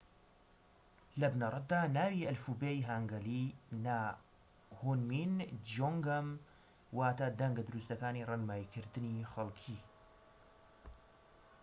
لە بنەڕەتدا ناوی ئەلفوبێی هانگەلی نا هونمین جیۆنگەم واتە دەنگە دروستەکانی ڕێنماییکردنی خەڵكی